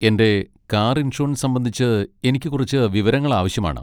എന്റെ car insurance സംബന്ധിച്ച് എനിക്ക് കുറച്ച് വിവരങ്ങൾ ആവശ്യമാണ്.